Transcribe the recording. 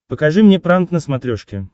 покажи мне пранк на смотрешке